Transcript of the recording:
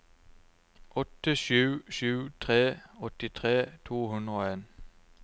åtte sju sju tre åttitre to hundre og en